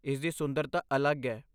ਇਸ ਦੀ ਸੁੰਦਰਤਾ ਅਲੱਗ ਹੈ।